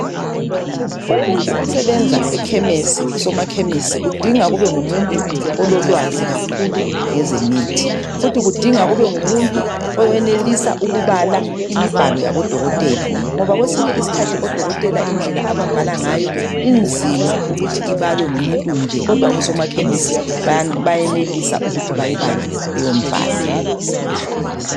Umuntu osebenza ekhemisi, usomakhemisi kudinga kube ngumuntu ololwazi kakhulu ngezemithi. Futhi kudinga kubengumuntu oyenelisa ukubala imibhalo yabodokotela ngoba kwesinye isikhathi odokotela indlela ababhala ngayo inzima ukuthi ibalwe ngumuntu nje kodwa oSomakhemisi bayenelisa ukuthi bayibale leyo mbhalo.